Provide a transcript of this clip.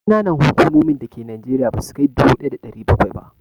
Ƙananan hukumomin da ke Najeriya ba sukai dubu ɗaya da ɗari bakwai ba